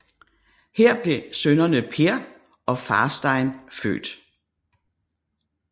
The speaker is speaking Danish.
Her blev sønnerne Per og Fartein født